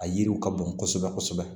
A yiriw ka bon kosɛbɛ kosɛbɛ